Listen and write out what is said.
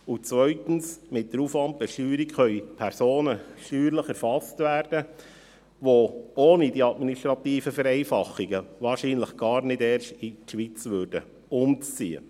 Zweitens können mit der Aufwandbesteuerung Personen steuerlich erfasst werden, die ohne diese administrativen Vereinfachungen wahrscheinlich gar nicht erst in die Schweiz umziehen würden.